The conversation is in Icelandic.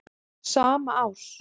sama árs.